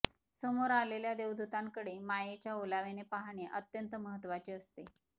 समोर असलेल्या देवदुतांकडे मायेच्या ओलाव्याने पाहणे अत्यंत महत्वाचे असते